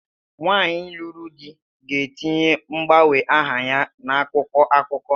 Nwaanyi lụrụ di ga-etinye ozi mgbanwe aha ya n'akwụkwọ akụkọ.